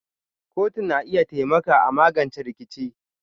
kotu na iya taimaka a magance rikici.